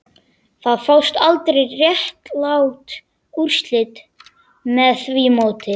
Það fást aldrei réttlát úrslit með því móti